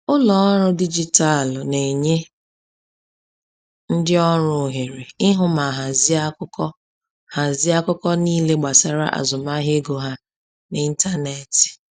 Ụlọ ọrụ dijitalụ na-enye ndị ọrụ ohere ịhụ ma hazie akụkọ hazie akụkọ niile gbasara azụmahịa ego ha n’ịntanetị.